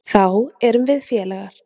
Þá erum við félagar.